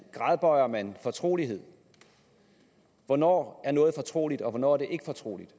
gradbøjer man fortrolighed hvornår er noget fortroligt og hvornår er det ikke fortroligt